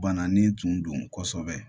Bananin tun don kosɛbɛ